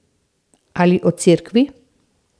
Ali o cerkvi.